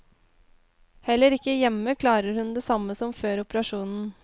Heller ikke hjemme klarer hun det samme som før operasjonen.